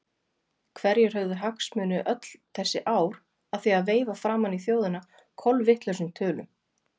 Hverjir höfðu hagsmuni öll þessi ár af því að veifa framan í þjóðina kolvitlausum tölum?